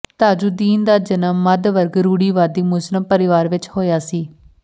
ਤਾਜੁੱਦੀਨ ਦਾ ਜਨਮ ਮੱਧ ਵਰਗ ਰੂੜੀਵਾਦੀ ਮੁਸਲਿਮ ਪਰਿਵਾਰ ਵਿਚ ਹੋਇਆ ਸੀ